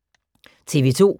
TV 2